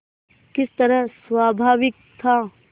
किस तरह स्वाभाविक था